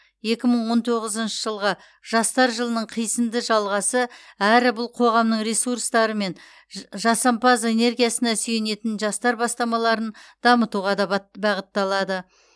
екі мың он тоғызыншы жылғы жастар жылының қисынды жалғасы әрі бұл қоғамның ресурстары мен жасампаз энергиясына сүйенетін жастар бастамаларын дамытуға да бағытталады